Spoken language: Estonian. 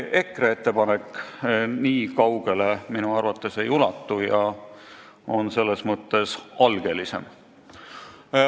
EKRE ettepanek minu arvates nii kaugele ei ulatu ja on selles mõttes algelisem.